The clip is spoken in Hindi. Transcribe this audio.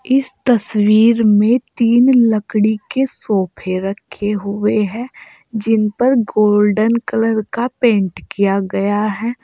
इस तस्वीर में तीन लकड़ी के सोफे रखें हुए हैं जिन पर गोल्डन कलर का पेंट किया गया है।